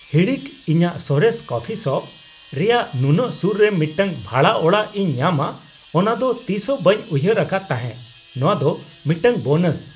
ᱦᱤᱲᱤᱠ (ᱤᱧᱟᱹᱜ ᱥᱚᱨᱮᱥ coffee shop) ᱨᱮᱭᱟᱜ ᱱᱩᱱᱟᱹᱜ ᱥᱩᱨ ᱨᱮ ᱢᱤᱫᱴᱟᱝ ᱵᱷᱟᱲᱟ ᱚᱲᱟᱜ ᱤᱧ ᱧᱟᱢᱟ ᱚᱱᱟᱫᱚ ᱛᱤᱥ ᱦᱚᱸ ᱵᱟᱹᱧ ᱩᱭᱦᱟᱹᱨ ᱟᱠᱟᱫ ᱛᱟᱦᱮᱸ ᱾ ᱱᱚᱶᱟ ᱫᱚ ᱢᱤᱫᱴᱟᱝ ᱵᱳᱱᱟᱥ !